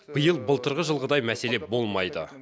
биыл былтырғы жылғыдай мәселе болмайды